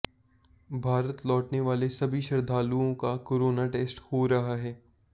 भारत लौटने वाले सभी श्रद्धालुओं का कोरोना टेस्ट हो रहा है